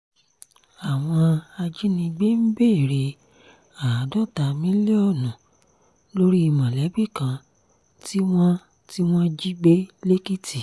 àwọn ajínigbé ń béèrè àádọ́ta mílíọ̀nù lórí mọ̀lẹ́bí kan tí wọ́n tí wọ́n jí gbé lẹ́kìtì